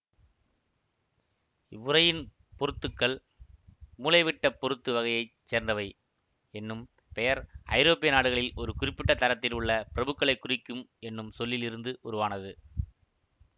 இவ்வுறையின் பொருத்துக்கள் மூலைவிட்டப் பொருத்து வகையை சேர்ந்தவை என்னும் பெயர் ஐரோப்பிய நாடுகளில் ஒரு குறிப்பிட்ட தரத்தில் உள்ள பிரபுக்களைக் குறிக்கும் என்னும் சொல்லில் இருந்து உருவானது